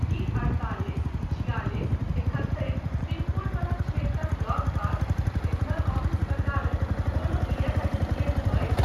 की अढ़तालिस छिआलिस एकहत्तरि पिन कोड वला क्षेत्रक लगपास रीजनल ऑफिस प्रकारक कोनो ईएसआईसी केन्द्र अछि ?